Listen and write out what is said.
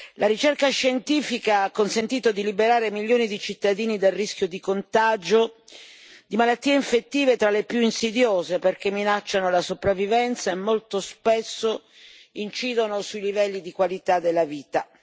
La ricerca scientifica ha consentito di liberare milioni di cittadini dal rischio di contagio di malattie infettive tra le più insidiose, perché minacciano la sopravvivenza e molto spesso incidono sui livelli di qualità della vita.